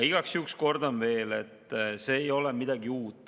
Igaks juhuks kordan veel, et see ei ole midagi uut.